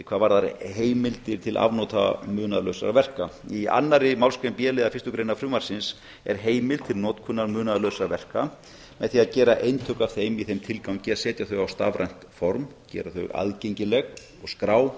hvað varðar heimildir til afnota munaðarlausra verka í annarri málsgrein b liðar fyrstu greinar frumvarpsins er heimild til munaðarlausra verka með því að gera eintök af þeim í þeim tilgangi að setja þau á stafrænt form gera þau aðgengileg og skrá